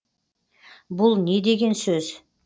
бұл не деген сөз